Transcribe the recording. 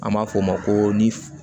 An b'a f'o ma ko ni f